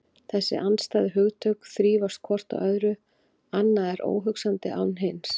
Þessi andstæðu hugtök þrífast hvort á öðru, annað er óhugsandi án hins.